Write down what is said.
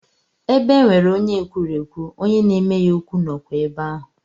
Ebe e nwere onye ekwurekwu, onye na-eme ya okwu nọkwa ebe ahụ.